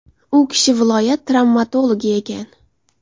U kishi viloyat travmatologi ekan.